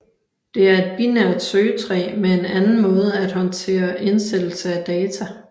Det er et binært søgetræ med en anden måde at håndtere indsættelse af data